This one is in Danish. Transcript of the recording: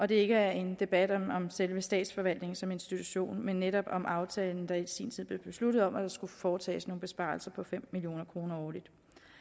det ikke er en debat om selve statsforvaltningen som institution men netop om aftalen der i sin tid blev besluttet om at der skulle foretages nogle besparelser på fem million kroner årligt